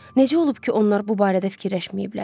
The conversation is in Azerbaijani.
Necə olub ki, onlar bu barədə fikirləşməyiblər?